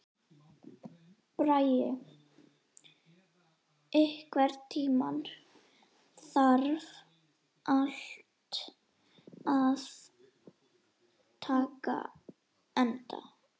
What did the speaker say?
Bragi, einhvern tímann þarf allt að taka enda.